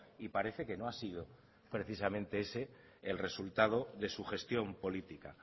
y parece que no ha sido precisamente ese el resultado de su gestión política